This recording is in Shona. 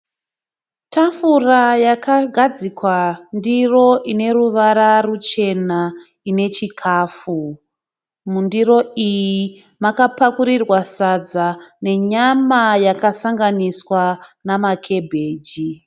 Tafura yakagadzikwa ndiro ineruvara ruchena ine chikafu. Mundiro iyi makapakurirwa sadza nenyama yakasanganiswa namakebheji.